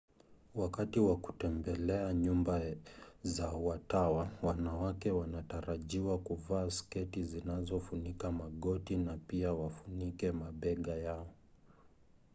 wakati wa kutembelea nyumba za watawa wanawake wanatarajiwa kuvaa sketi zinazofunika magoti na pia wafunike mabega yao